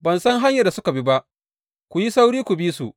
Ban san hanyar da suka bi ba, ku yi sauri ku bi su.